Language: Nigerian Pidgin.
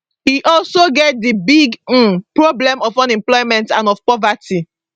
e also get di big um problem of unemployment and of poverty